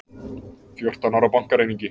Fjórtán ára bankaræningi